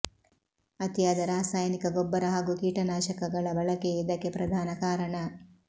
ಅತಿಯಾದ ರಾಸಾಯನಿಕ ಗೊಬ್ಬರ ಹಾಗೂ ಕೀಟನಾಶಕ ಗಳ ಬಳಕೆಯೇ ಇದಕ್ಕೆ ಪ್ರಧಾನ ಕಾರಣ